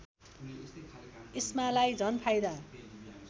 इस्मालाई झन् फाइदा